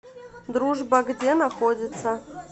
дружба где находится